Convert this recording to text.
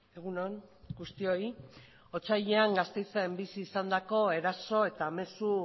egun on guztioi otsailean gasteizen bizi izandako eraso eta mezu